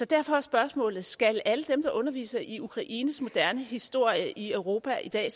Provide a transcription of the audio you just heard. derfor er spørgsmålet skal alle dem der underviser i ukraines moderne historie i europa i dag